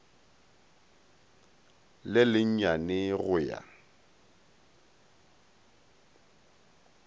le le nyane go ya